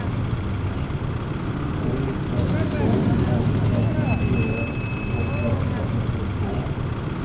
tre ett två åtta femtioett åttahundratrettiotvå